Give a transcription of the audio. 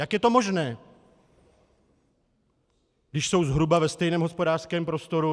Jak je to možné, když jsou zhruba ve stejném hospodářském prostoru?